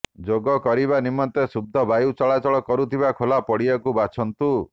ଯୋଗ କରିବା ନିମନ୍ତେ ଶୁଦ୍ଧ ବାୟୁ ଚଳାଚଳ କରୁଥିବା ଖୋଲା ପଡିଆକୁ ବାଛନ୍ତୁ